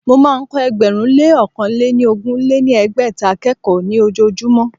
Mo máa ń kọ́ ẹgbẹ̀rún lé ọ̀kan lé ní ogún lé ní ẹgbẹ́ta akẹ́kọ̀ọ́ ní ojojúmọ́